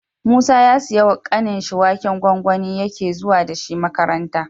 Musa ya siya wa kanin shi waken gwangwani yake zuwa dashi makaranta